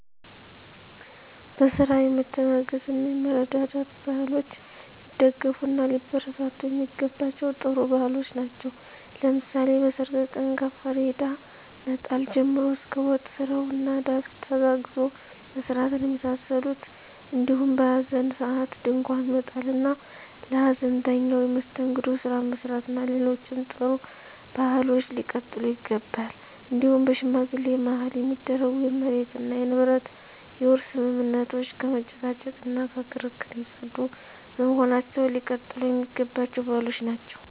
በስራ የመተጋገዝ እና የመረዳዳት ባህሎች ሊደገፍ እና ሊበረታቱ የሚገባቸም ጥሩ ባህሎች ናቸው። ለምሳሌ በሰርግ ቀን ከፍሪዳ መጣል ጀምሮ እስከ ወጥ ስራው እና ዳስ ተጋግዞ መስራትን የመሳሰሉት እንዲሁም በሀዘን ሰአት ድንኳን መጣል እና ለሀዘንተኛው የመስተንግዶ ስራ መስራት እና ሌሎችም ጥሩ ባህሎች ሊቀጥሉ ይገባቸዋል። እንዲሁም በሽማግሌ ማህል የሚደረጉ የመሬት እና የንብረት የውርስ ስምምነቶች ከመጨቃጨቅ እና ከክርክር የፀዱ በመሆናቸው ሊቀጥሉ የሚገባቸው ባህሎች ናቸው።